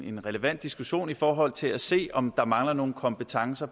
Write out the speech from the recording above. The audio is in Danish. en relevant diskussion i forhold til at se om der mangler nogle kompetencer